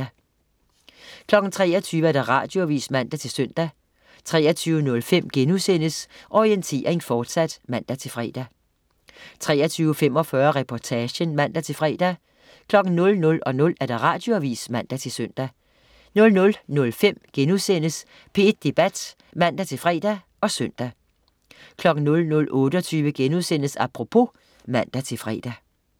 23.00 Radioavis (man-søn) 23.05 Orientering, fortsat* (man-fre) 23.45 Reportagen (man-fre) 00.00 Radioavis (man-søn) 00.05 P1 Debat* (man-fre og søn) 00.28 Apropos* (man-fre)